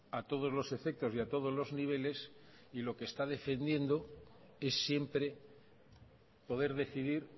a todos los efectos y a todos los niveles y lo que está defendiendo es siempre poder decidir